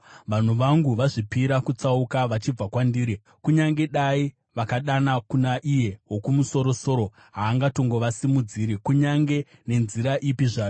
Vanhu vangu vazvipira kutsauka vachibva kwandiri. Kunyange dai vakadana kuna Iye Wokumusoro-soro, haangatongovasimudziri kunyange nenzira ipi zvayo.